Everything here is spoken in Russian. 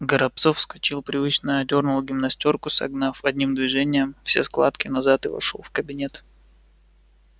горобцов вскочил привычно одёрнул гимнастёрку согнав одним движением все складки назад и вошёл в кабинет